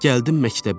Gəldim məktəbə.